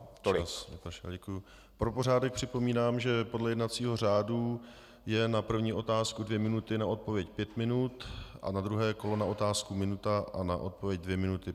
Pro pořádek připomínám, že podle jednacího řádu jsou na první otázku dvě minuty, na odpověď pět minut a na druhé kolo na otázku minuta a na odpověď dvě minuty.